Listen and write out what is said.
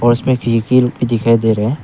उसमें दिखाई दे रहे हैं।